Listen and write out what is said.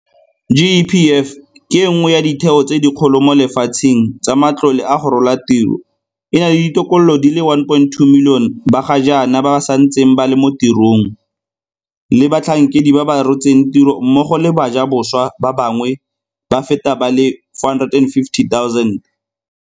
GEPF ke e nngwe ya ditheo tse dikgolo mo lefatsheng tsa matlole a go rola tiro, e na le ditokololo di le 1.2 milione ba ga jaana ba santseng ba le mo tirong, le batlhankedi ba ba rotseng tiro mmogo le bajaboswa ba bangwe ba feta ba le 450 000.